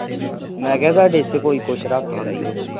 ਮੈ ਕਿਹਾ ਤੁਹਾਡੇ ਇਥੇ ਕੋਈ ਕੁਛ ਰੱਖ